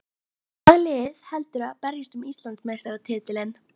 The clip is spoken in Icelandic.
Hvaða lið heldurðu að berjist um Íslandsmeistaratitilinn?